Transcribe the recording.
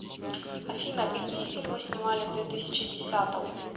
афина какие фильмы снимали в две тысячи десятом